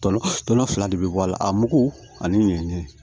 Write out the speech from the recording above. Tɔnɔ fila de bɛ bɔ a la a mugu ani ɲɛni